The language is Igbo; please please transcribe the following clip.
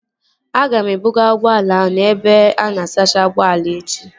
Aga m ebuga ụgbọala ahụ n'ebe ana asacha ụgbọala echi